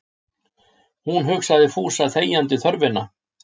Hún hugsaði Fúsa þegjandi þörfina.